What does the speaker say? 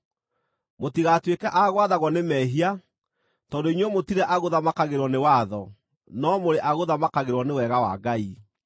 Mũtigatuĩke a gwathagwo nĩ mehia, tondũ inyuĩ mũtirĩ agũthamakagĩrwo nĩ watho, no mũrĩ agũthamakagĩrwo nĩ wega wa Ngai.